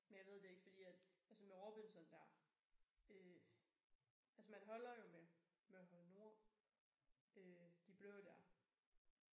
Men jeg ved det ikke fordi at altså med Robinson der øh altså man holder jo med med hold nord de blå der